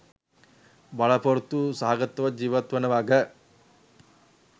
බලාපොරොත්තු සහගතව ජීවත් වන වග.